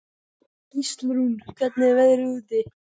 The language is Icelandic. Gíslrún, hvernig er veðrið úti?